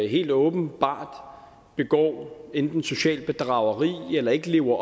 helt åbenlyst begår enten socialt bedrageri eller ikke lever